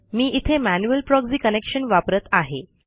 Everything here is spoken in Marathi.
मी इथे मॅन्युअल प्रॉक्झी कनेक्शन वापरत आहे